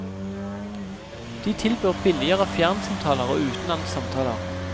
De tilbyr billigere fjernsamtaler og utenlandssamtaler.